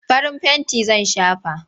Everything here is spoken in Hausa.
Farin fenti zan shafa.